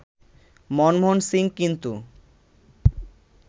মনমোহন সিং কিন্তু